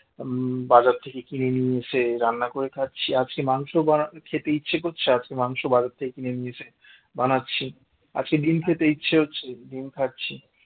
বাজার থেকে কিনে নিয়ে এসে রান্না করে খাচ্ছি আজকে মাংস বানাতে খেতে ইচ্ছে করছে আজকে মাংস বাজার থেকে কিনে নিয়ে এসে বানাচ্ছি আজকে ডিম খেতে ইচ্ছে হচ্ছে ডিম খাচ্ছি